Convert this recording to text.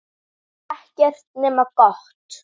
Hún er vel vopnum búin.